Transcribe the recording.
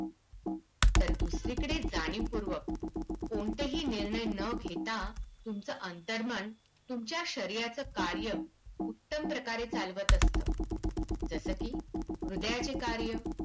तर दुसरीकडे जाणीवपूर्वक कोणतेही निर्णय न घेता तुमचं अंतर्मन तुमच्या शरीराचं कार्य उत्तम प्रकारे चालवतं असतं. जसं की हृदयाचे कार्य